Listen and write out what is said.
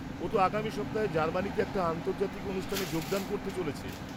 ও তো আগামী সপ্তাহে জার্মানিতে একটা আন্তর্জাতিক অনুষ্ঠানে যোগদান করতে চলেছে।